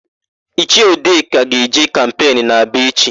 Ichie Udeka ga-eje kampenu n'Aba echi.